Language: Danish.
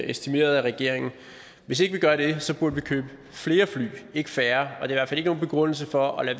estimeret af regeringen hvis ikke vi gør det så burde vi købe flere fly ikke færre og det er fald ikke nogen begrundelse for at